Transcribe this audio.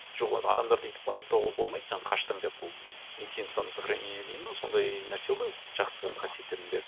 жоқ онда адамдарды өйтіп айыптауға болмайды сен қаштың деп ол инстинкт самосохранения дейді ме сондай нәрсе ғой жақсы қасиеттердің бірі